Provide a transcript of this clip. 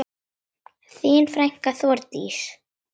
Þín frænka, Þórdís.